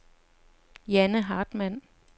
Janne Hartmann